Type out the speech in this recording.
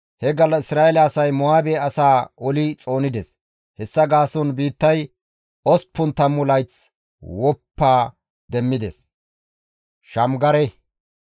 He gallas Isra7eele asay Mo7aabe asaa oli xoonides; hessa gaason biittay osppun tammu layth gakkanaas woppa demmides.